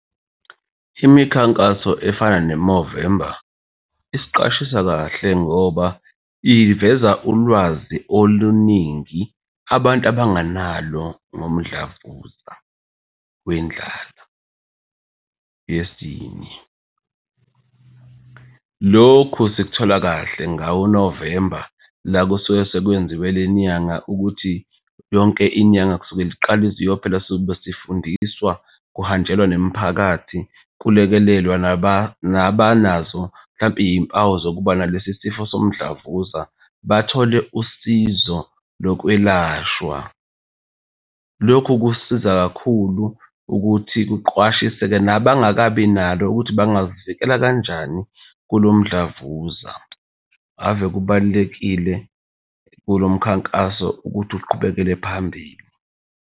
Imikhankaso efana ne-Movember isiqashise kahle ngoba iveza ulwazi oluningi abantu abangenalo ngomdlavuza wendlala yesinye. Lokhu sikuthola kahle ngawo uNovemba la kusuke sekwenziwe le nyanga ukuthi yonke inyanga kusukela iqale iziyophela sobe sifundiswa, kuhanjelwa nemiphakathi, kulekelelwe nabanazo mhlampe iy'mpawu zokuba nalesi sifo somdlavuza bathole usizo lokwelashwa. Lokhu kusiza kakhulu ukuthi kuqwashise-ke nabangababi nalo ukuthi bangazivikela kanjani kulo mdlavuza. Ave kubalulekile kulo mkhankaso ukuthi uqhubekele phambili.